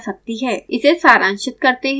इसे सारांशित करते हैं